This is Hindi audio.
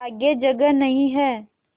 आगे जगह नहीं हैं